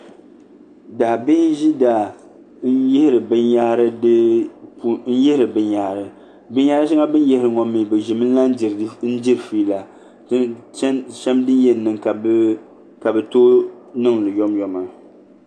Daabihi n ʒi daa n yihiri binyahari binyahri shɛŋa bi ni yihiri ŋo mii bi ʒimi n lahi diri fiila bin shɛli din yɛn niŋ ka di tooi niŋ yomyoma